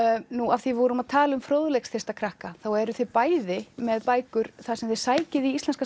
af því við vorum að tala um fróðleiksþyrsta krakka þá eruð þið bæði með bækur þar sem þið sækið í íslenska